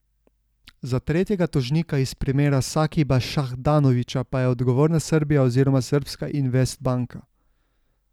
Za tretjega tožnika iz primera Sakiba Šahdanovića pa je odgovorna Srbija oziroma srbska Investbanka.